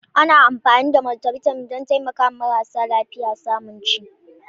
Ana amfani da Multivitamin don taimakawa marasa lafiya samun ci.